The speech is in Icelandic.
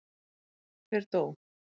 Hver dó?